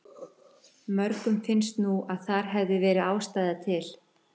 Mörgum finnst nú að þar hefði verið ástæða til.